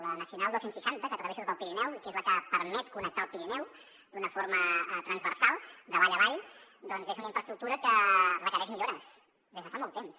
la nacional dos cents i seixanta que travessa tot el pirineu i que és la que permet connectar el pirineu d’una forma transversal de vall a vall és una infraestructura que requereix millores des de fa molt temps